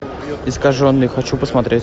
искаженный хочу посмотреть